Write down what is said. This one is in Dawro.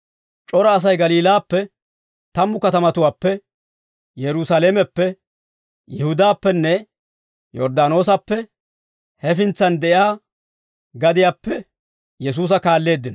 C'ora Asay Galiilaappe, tammu katamatuwaappe, Yerusaalameppe, Yihudaappenne Yorddaanoosappe hefintsan de'iyaa gadiyaappe Yesuusa kaalleeddino.